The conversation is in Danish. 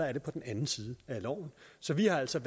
er på den anden side af loven så vi har altså